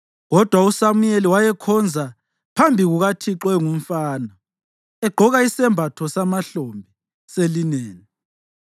Kodwa uSamuyeli wayekhonza phambi kukaThixo engumfana egqoka isembatho samahlombe selineni.